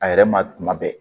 A yɛrɛ ma tuma bɛɛ